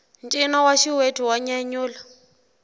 ncino wa xiwethu wa nyanyula